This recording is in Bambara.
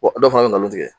Wa dɔ fana bɛ nkalon tigɛ